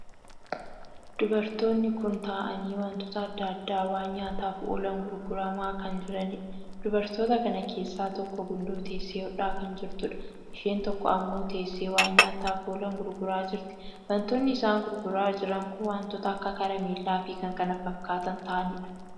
Dubartoonni kun taa'aanii wantoota addaa addaa waan nyaataaf oolan gurgurama kan jiraniidha. dubartoota kan keessaa tokko gundoo teessee hodhaa kan jirtuudha. isheen tokko ammoo teessee waan nyaataaf oolan gurguraa jirti. wantoonni isaan gurguraa jiran kun wantoota akka karameellaa fi kkf tahaniidha.